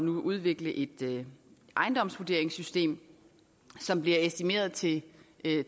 udvikle et ejendomsvurderingssystem som bliver estimeret til